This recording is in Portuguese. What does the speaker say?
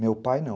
Meu pai, não.